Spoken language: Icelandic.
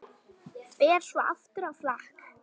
Fer svo aftur á flakk.